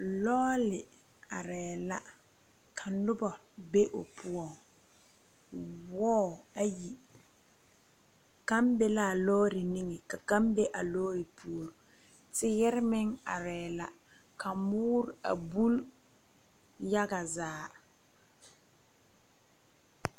Loɔli arẽ la ka nuba be ɔ poɔ wɔɔ ayi kang be la a loɔri nenge ka kang be a loɔri poɔring teere meng arẽ la ka mɔɔre a buli yaga zaa.